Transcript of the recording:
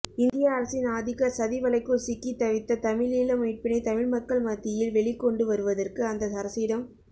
இந்திய அரசின் ஆதிக்க சதிவலைக்குள் சிக்கித் தவித்த தமிழீழ மீட்பினை தமிழ்மக்கள் மத்தியில்வெளிக்கொண்டு வருவதற்கு அந்த அரசிடம்